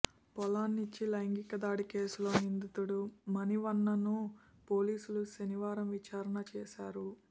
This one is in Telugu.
పొల్లాచ్చి లైంగిక దాడి కేసులో నిందితుడు మణివన్నన్ను పోలీసులు శనివారం విచారణ చేశారు